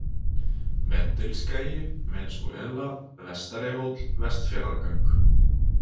Vendilskagi, Venesúela, Vestarihóll, Vestfjarðagöng